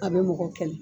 A bɛ mɔgɔ kɛlɛ